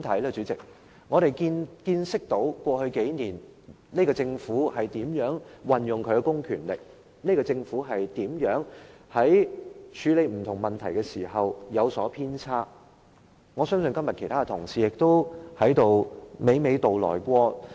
過去數年，我們見識到這個政府如何運用其公權力，在處理不同問題時如何有所偏差，我相信這些問題，其他同事今天亦已娓娓道來。